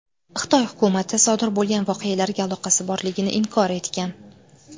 Xitoy hukumati sodir bo‘lgan voqealarga aloqasi borligini inkor etgan.